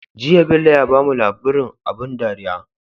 Jiya Bello ya bamu labrin abun dariya